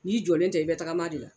N'i jɔlen tɛ i be tagama de la